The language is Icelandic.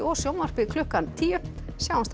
sjónvarpi klukkan tíu sjáumst þá